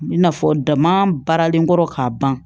I n'a fɔ dama baaralen kɔrɔ k'a ban